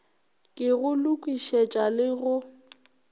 ke go lokišetša le go